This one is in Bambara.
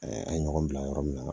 an ye ɲɔgɔn bila yɔrɔ min na